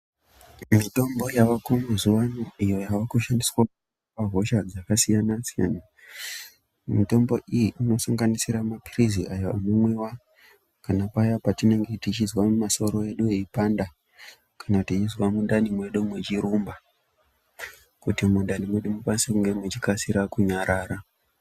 Mitombo yavako mazuwano iyo yava kushandiswa pahosha dzakasiyana siyana mitombo iyi inosanganisira maphilizi aya anomwiwa kana paya patinenge tichizwa masoro edu eipanda , kana tichizwa mundani medu muchirumba kuti mundani medu munge mechikasire kunyarara.